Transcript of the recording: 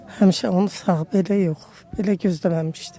Həmişə onu sağ belə yox, belə gözləməmişdim.